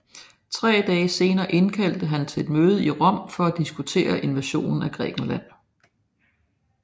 Tre dage senere indkaldte han til et møde i Rom for at diskutere invasionen af Grækenland